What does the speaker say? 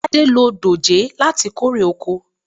Tádé lo dòjé láti kórè oko.